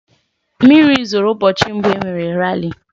Mmiri zoro ụbọchị mbụ e mere rali.